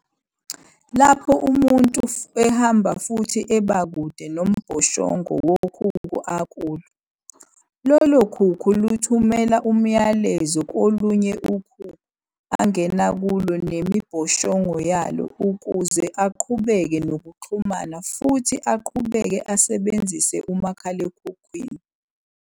Lapho umuntu ehamba futhi ebakude nomboshongo wokhukhu akulo, lolokhukhu luthumela umyalezo kolunye ukhukhu angena kulo nemibhoshongo yalo ukuze aqhubeke nokuxhuma futhi aqhubeke esebenzise umakhalekhukhwini.